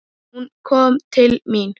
Hún kom til mín.